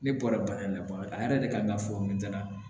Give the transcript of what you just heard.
Ne bɔra bana in na a yɛrɛ de kan ka fɔ ne ɲɛna